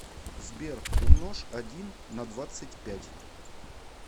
сбер умножь один на двадцать пять